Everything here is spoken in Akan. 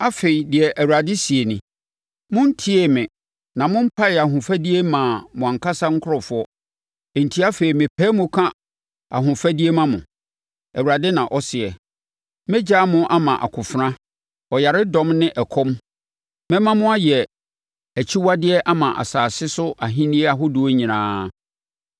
“Afei, deɛ Awurade seɛ nie: Montiee me na mompaee ahofadie mmaa mo ankasa nkurɔfoɔ. Enti afei mepae mu ka ahofadie ma mo, Awurade na ɔseɛ. Mɛgyaa mo ama akofena, ɔyaredɔm ne ɔkɔm. Mɛma mo ayɛ akyiwadeɛ ama asase so ahennie ahodoɔ nyinaa.